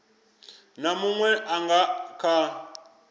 na munwe a nga kha